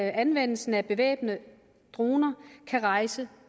anvendelsen af bevæbnede droner kan rejse